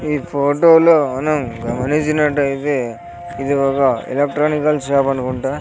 ఈ ఫోటో లోను గమనించినట్టయితే ఇది ఒగ ఎలెక్ట్రానికల్ షాప్ అనుకుంటా.